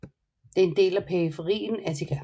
Det er en del af periferien Attica